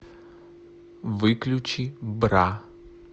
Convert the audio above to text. выключи бра